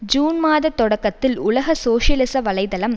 June மாதத் தொடக்கத்தில் உலக சோசியலிச வலை தளம்